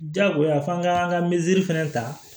Jagoya f'an k'an ka fɛnɛ ta